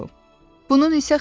Bunun isə xeyri yox idi,